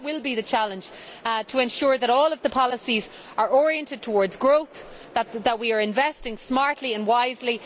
That will be the challenge to ensure that all of the policies are oriented towards growth and that we are investing smartly and wisely.